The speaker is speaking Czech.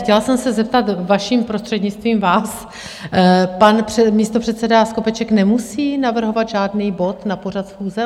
Chtěla jsem se zeptat, vaším prostřednictvím, vás, pan místopředseda Skopeček nemusí navrhovat žádný bod na pořad schůze?